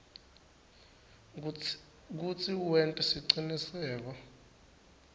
kutsi wente siciniseko